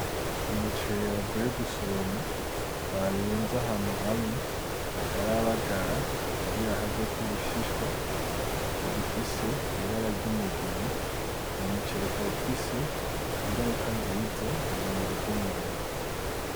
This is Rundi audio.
Umuceri bavuye gusoroma, barunze ahantu hamwe, batarabagara kugira haveko ubushishwa, gifise ibara ryumugina, uwo muceri ukaba ufise ingaruka nziza mumubiri bw'umuntu